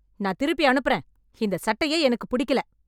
நான் திருப்பி அனுப்புறேன் இந்த சட்டையே எனக்குப் பிடிக்கல